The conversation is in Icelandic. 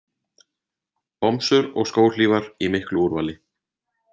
Bomsur og skóhlífar í miklu úrvali.